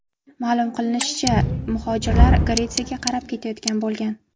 Ma’lum qilinishicha, muhojirlar Gretsiyaga qarab ketayotgan bo‘lgan.